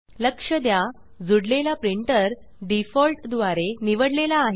लक्ष द्या जुडलेला प्रिंटर डिफॉल्ट द्वारे निवडलेला आहे